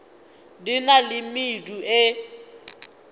di na le medu e